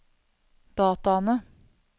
dataene